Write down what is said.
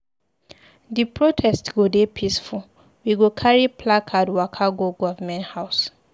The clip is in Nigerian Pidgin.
Di protest go dey peaceful, we go carry placard waka go government house.